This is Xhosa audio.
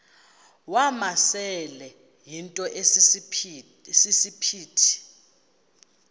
wamasele yinto esisiphithi